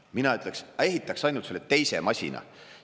Mina ütleks: aga ehitaks ainult selle teise masina.